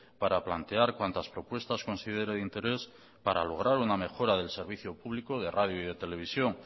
para plantear cuantas propuestas considere de interés para lograr una mejora del servicio público de radio y de televisión